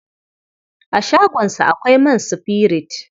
A shagonsa akwai man sifirit.